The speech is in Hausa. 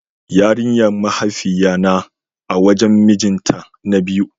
Yarinyan mahaifiya na a wajen mijin ta na biyu.